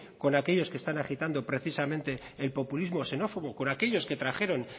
con aquellos que están agitando precisamente el populismo xenófobo con aquellos que trajeron